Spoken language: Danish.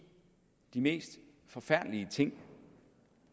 de mest forfærdelige ting